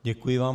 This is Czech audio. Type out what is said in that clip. Děkuji vám.